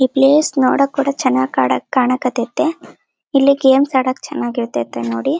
ಈ ಪ್ಲೇಸ್ ನೋಡಕೆ ಒಳ್ಳೆ ಚನ್ನಾಗ್ ಕನ್ಕಹತ್ತೈತಿ ಇಲ್ಲಿ ಗೇಮ್ಸ್ ಆಡೋಕೆ ಚೆನ್ನಾಗ್ ಇರತೈತಿ ನೋಡಿ.